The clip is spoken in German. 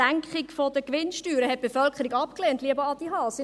Die Senkung der Gewinnsteuer hat die Bevölkerung abgelehnt, lieber Adrian Haas.